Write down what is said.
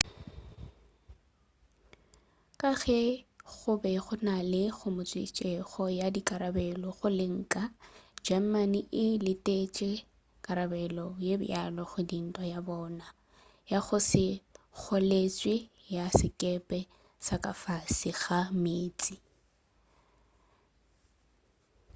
ka ge go be go na le kgomišetšo ya dikarabelo go lenka le germany e letetše karabelo ye bjalo go dintwa ya bona ya go se kgoletšwe ya sekepe sa ka fase ga meetse